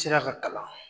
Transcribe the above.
Sera ka kalan